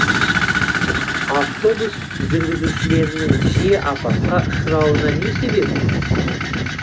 автобус жүргізушілерінің жиі апатқа ұшырауына не себеп